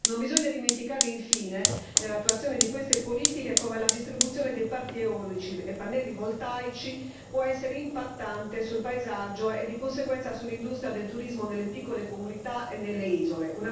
Non bisogna dimenticare infine, nell'attuazione di queste politiche, che la distribuzione di parchi eolici e pannelli voltaici può essere impattante sul paesaggio e di conseguenza sull'industria del turismo nelle piccole comunità e nelle isole.